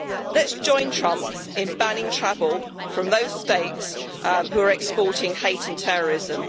Let us join Trump in banning travel from those states which are exporting hate and terrorism.